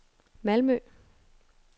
Malmø